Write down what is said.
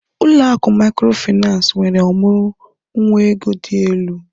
Ụlọ akụ Mikrofaịnsi nwere ọmụrụ nwa ego dị elu